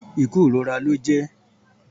Ikú irora lọ jẹ